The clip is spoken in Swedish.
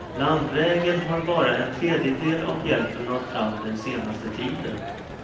Landvägen har bara en tredjedel av hjälpen nått fram den senaste tiden.